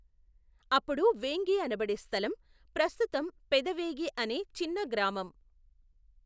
అప్పుడు వేంగి అనబడే స్థలం ప్రస్తుతం పెదవేగి అనే చిన్న గ్రామం.